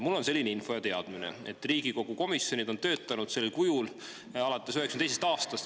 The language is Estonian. Mul on selline info ja teadmine, et Riigikogu komisjonid on sellisel kujul töötanud 1992. aastast alates.